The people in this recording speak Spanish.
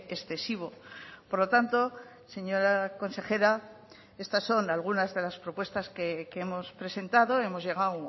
excesivo por lo tanto señora consejera estas son algunas de las propuestas que hemos presentado hemos llegado